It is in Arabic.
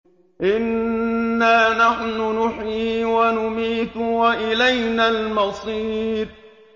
إِنَّا نَحْنُ نُحْيِي وَنُمِيتُ وَإِلَيْنَا الْمَصِيرُ